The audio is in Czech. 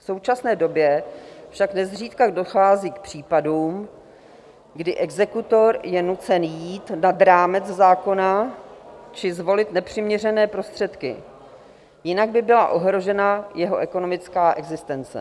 V současné době však nezřídka dochází k případům, kdy exekutor je nucen jít nad rámec zákona či zvolit nepřiměřené prostředky, jinak by byla ohrožena jeho ekonomická existence.